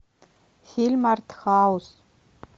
фильм арт хаус